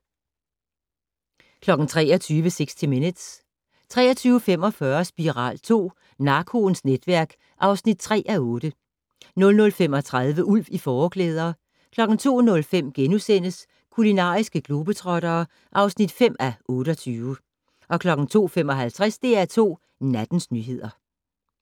23:00: 60 Minutes 23:45: Spiral II: Narkoens netværk (3:8) 00:35: Ulv i Fåreklæder 02:05: Kulinariske globetrottere (5:28)* 02:55: DR2 Nattens nyheder